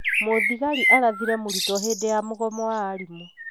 Mũthigari arathire mũrutwo hĩndi ya mũgomo wa aarimũ